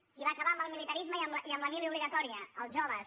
qui va acabar amb el militarisme i amb la mili obligatòria els joves